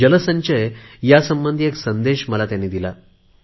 जल संचय या संबंधी एक संदेश दिला आहे